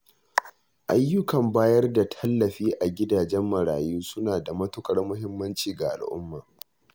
Ayyukan bayar da tallafi a gidajen marayu suna da matuƙar muhimmanci ga al'umma